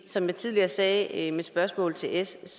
som jeg tidligere sagde i mit spørgsmål til s